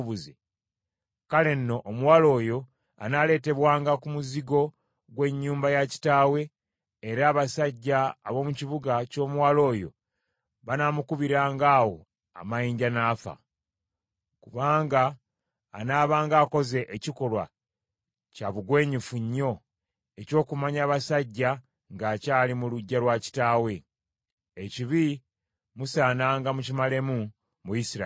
kale nno omuwala oyo anaaleetebwanga ku muzigo gw’ennyumba ya kitaawe, era abasajja ab’omu kibuga ky’omuwala oyo banaamukubiranga awo amayinja n’afa. Kubanga anaabanga akoze ekikolwa kya bugwenyufu nnyo eky’okumanya abasajja ng’akyali mu luggya lwa kitaawe. Ekibi musaananga mukimalemu mu Isirayiri.